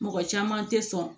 Mɔgɔ caman tɛ sɔn